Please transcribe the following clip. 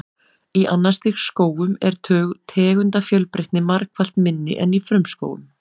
Í annars stigs skógum er tegundafjölbreytni margfalt minni en í frumskógum.